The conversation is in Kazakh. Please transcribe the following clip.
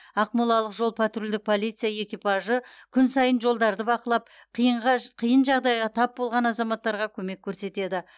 ақмолалық жол патрульдік полиция экипажы күн сайын жолдарды бақылап қиын жағдайға тап болған азаматтарға көмек көрсетеді